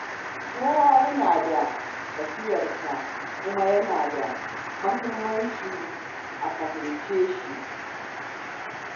Kowa yana da irin tafiyarsa, kuma yana da muhimmanci a fahimce shi.